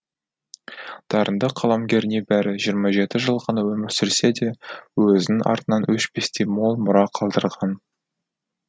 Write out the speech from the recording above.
дарынды қаламгер небәрі жиырма жеті жыл ғана өмір сүрсе де өзінің артынан өшпестей мол мұра қалдырған